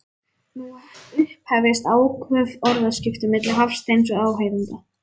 Nú upphefjast áköf orðaskipti milli Hafsteins og áheyrenda.